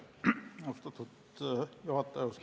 Austatud juhataja!